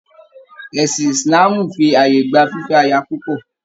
Ẹ̀sìn Ìsìláàmù fì ààyè gba fífẹ́ aya púpọ̀.